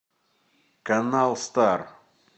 канал стар